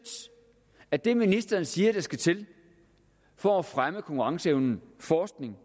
af det ministeren siger skal til for at fremme konkurrenceevne forskning